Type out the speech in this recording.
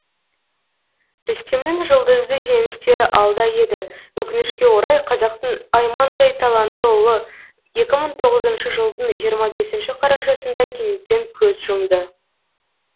рүстемнің жұлдызды жеңістері алда еді өкінішке орай қазақтың аймаңдай талантты ұлы екі мың тоғызыншы жылдың жиырма бесінші қарашасында кенеттен көз жұмды